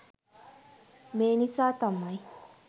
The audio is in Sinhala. මේ නිසා තමයි